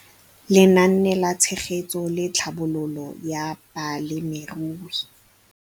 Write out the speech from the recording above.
Lenaane la Tshegetso le Tlhabololo ya Balemirui